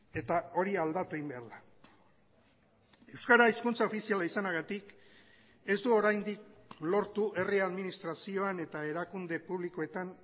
eta hori aldatu egin behar da euskara hizkuntza ofiziala izanagatik ez du oraindik lortu herri administrazioan eta erakunde publikoetan